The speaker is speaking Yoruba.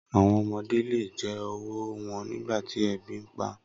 Awọn ọmọde le jẹ ọwọ wọn nigbati ebi npa